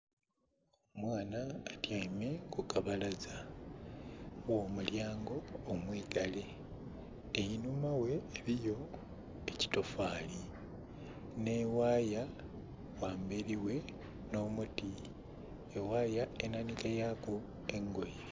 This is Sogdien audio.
Omwaana atyeime ku kabalaza ghomulyango omwiigale enhuma ghe eliyo ekitofali nhe ghaya ghamberi ghe nho muti eghaya enha nhike yaku engoye.